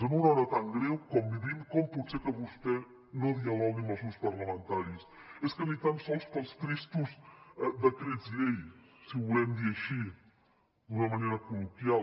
en una hora tan greu com vivim com pot ser que vostè no dialogui amb els grups parlamentaris és que ni tan sols pels tristos decrets llei si ho volem dir així d’una manera col·loquial